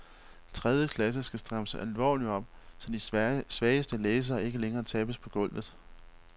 Tredje klasse skal strammes alvorligt op, så de svageste læsere ikke længere tabes på gulvet.